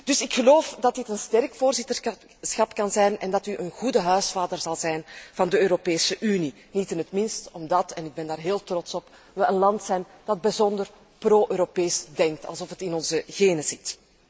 Dus ik geloof dat dit een sterk voorzitterschap kan zijn en dat u een goede huisvader zal zijn van de Europese Unie, niet in het minst omdat en ik ben daar heel trots op we een land zijn dat bijzonder pro Europees denkt, alsof het in onze genen zit.